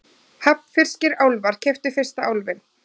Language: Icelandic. Hafnfirskir álfar keyptu fyrsta Álfinn